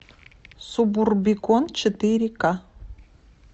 субурбикон четыре ка